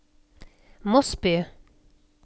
Mosby